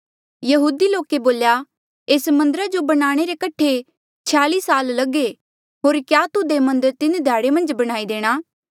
यहूदी लोके बोल्या एस मन्दरा जो बनाणे रे कठे छयाली साल लगे होर क्या तुध ये मन्दर तीन ध्याड़े मन्झ बणाई देणा